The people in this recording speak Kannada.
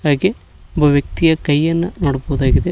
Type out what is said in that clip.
ಹಾಗೆ ಒಬ್ಬ ವ್ಯಕ್ತಿಯ ಕೈಯನ್ನ ನೋಡಬಹುದಾಗಿದೆ.